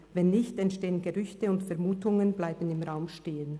Wenn nicht, entstehen Gerüchte, und Vermutungen bleiben im Raum stehen.